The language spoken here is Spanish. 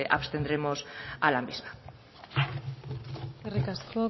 abstendremos a la misma eskerrik asko